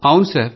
అవును సార్